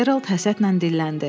Gerald həsədlə dilləndi.